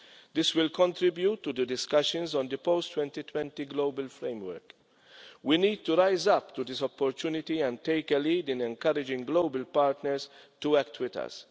This will contribute to the discussions on the post 2020 Global Framework. We need to rise up to this opportunity and take a lead in encouraging global partners to act with us.